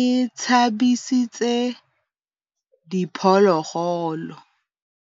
e tshabisitse diphôlôgôlô.